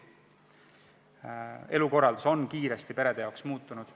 Perede elukorraldus on kiiresti muutunud.